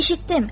Eşitdim.